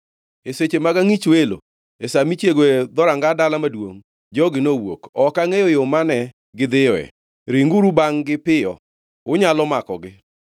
E seche mag angʼich welo, e sa michiegoe dhoranga dala maduongʼ, jogi nowuok. Ok angʼeyo yo mane gidhiyoe. Ringuru bangʼ-gi piyo. Unyalo makogi.”